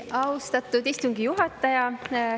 Austatud istungi juhataja!